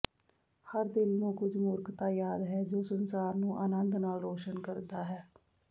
ਹਰ ਦਿਲ ਨੂੰ ਕੁਝ ਮੂਰਖਤਾ ਯਾਦ ਹੈ ਜੋ ਸੰਸਾਰ ਨੂੰ ਅਨੰਦ ਨਾਲ ਰੋਸ਼ਨ ਕਰਦਾ ਹੈ